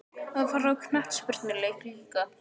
Að fara á knattspyrnuleik líka?